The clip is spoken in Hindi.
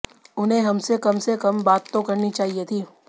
उन्हें हमसे कम से कम बात तो करनी चाहिए थी